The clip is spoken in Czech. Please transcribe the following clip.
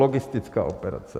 Logistická operace.